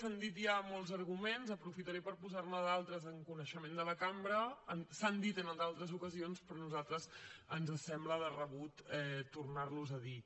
s’han dit ja molts arguments aprofitaré per posar ne d’altres en coneixement de la cambra s’han dit en d’altres ocasions però a nosaltres ens sembla de rebut tornar los a dir